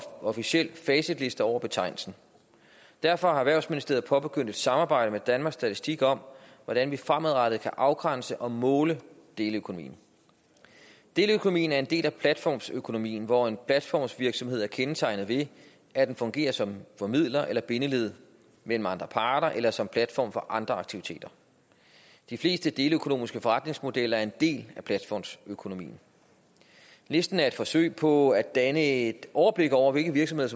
officiel facitliste over betegnelsen derfor har erhvervsministeriet påbegyndt et samarbejde med danmarks statistik om hvordan vi fremadrettet kan afgrænse og måle deleøkonomi deleøkonomien er en del af platformsøkonomien hvor en platformsvirksomhed er kendetegnet ved at den fungerer som formidler eller bindeled mellem andre parter eller som platform for andre aktiviteter de fleste deleøkonomiske forretningsmodeller er en del af platformsøkonomien listen er et forsøg på at danne et overblik over hvilke virksomheder